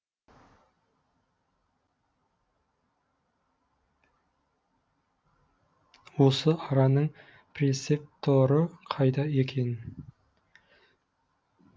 осы араның прецепторы қайда екен